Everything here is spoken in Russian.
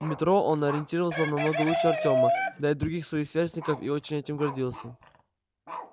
в метро он ориентировался намного лучше артёма да и других своих сверстников и очень этим гордился